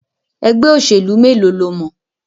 Ẹgbẹ́ òṣèlú mélòó lo mọ̀?